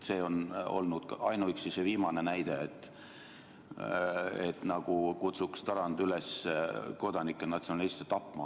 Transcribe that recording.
Seda näitab ainuüksi see viimane näide, nagu kutsuks Tarand üles kodanikke natsionaliste tapma.